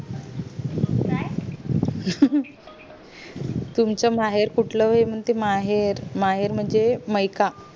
तुमचा महेर कुठलं महेर महेर म्हणजे मयिका